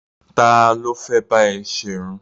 Ta ló fẹ́ bá ẹ ṣerun?